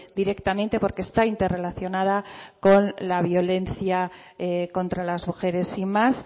directamente porque está interrelacionada con la violencia contra las mujeres sin más